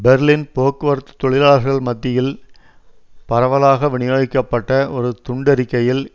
Berlin போக்குவரத்து தொழிலாள்கள் மத்தியில் பரவலாக வினியோகிக்கப்பட்ட ஒரு துண்டறிக்கையில்